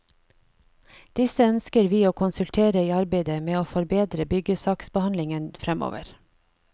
Disse ønsker vi å konsultere i arbeidet med å forbedre byggesaksbehandlingen fremover.